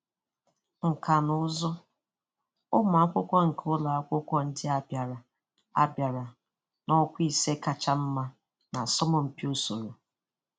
Nkà na ụzụ: Ụmụ akwụkwọ nke ụlọ akwụkwọ ndị a bịara a bịara n'ọkwa ise kacha mma n'asọmpi usoro